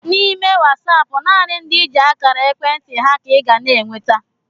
N'ime Wasaapụ nanị ndị i ji akara ekwentị ha ka I ga n'enweta